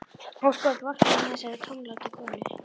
Ósköp vorkenni ég þessari tómlátu konu.